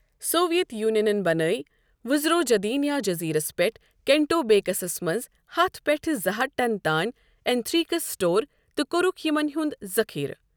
Soviet یوٗنِینن بنٲوۍ Vozrozhdeniya جزیرس پیٛٹھ کیٚنٛٹوبیٚکس منٛز ہتھ پیٛٹھٕ زٕ ہتھ ٹن تانۍ ایٚنتھریکس سپور تہٕ کوٚرُکھ یمن ہُند ذخیرٕ۔